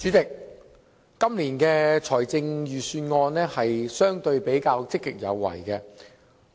主席，本年的財政預算案比較積極有為。